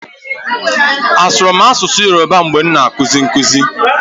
Asụrụ m asụsụ Yoroba mgbe m na-akụzi nkụzi?